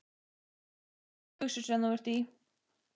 Geggjaðar stuttbuxur sem þú ert í!